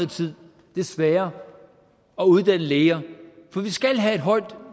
tid desværre at uddanne læger for vi skal have et højt